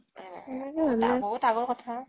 এ । বহুত আগৰ কথা ।